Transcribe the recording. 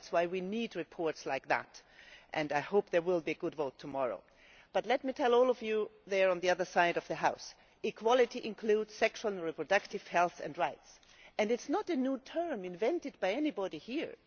That is why we need reports like this, and I hope there will be a good vote tomorrow. Let me say to all of you on the other side of the House equality includes sexual and reproductive health and rights and it is not a new term invented by anybody here.